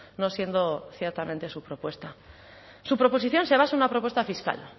no siendo ciertamente su propuesta su proposición se basa en una propuesta fiscal